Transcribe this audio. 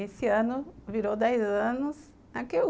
Esse ano virou dez anos.